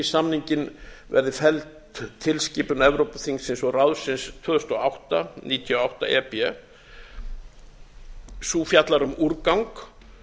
samninginn verði felld tilskipun evrópuþingsins og ráðsins tvö þúsund og átta níutíu og átta e b sú fjallar um úrgang